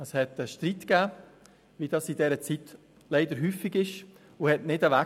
Es gab Streit, wie dies in dieser Zeit leider häufig der Fall ist, und er konnte nicht weg.